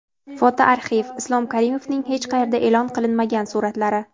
Fotoarxiv: Islom Karimovning hech qayerda e’lon qilinmagan suratlari.